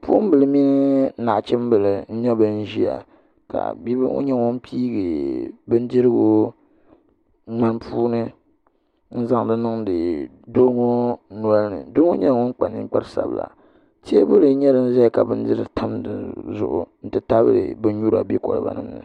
Bipuɣunbili mini nachimbili n ʒiya ka bia ŋo nyɛ ŋun piigi bindirigu ŋmani puuni n zaŋdi niŋdi doo ŋo nolini doo ŋo nyɛla ŋun kpa ninkpari sabila teebuli ʒɛya ka bin nyura tam dizuɣu n ti tabili bin nyura bɛ koliba ni ŋo